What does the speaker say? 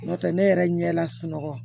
N'o tɛ ne yɛrɛ ɲɛ la sunɔgɔ